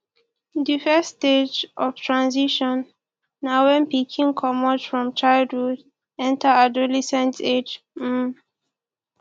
di first stage of transition na when pikin comot from childhood enter adolescent age um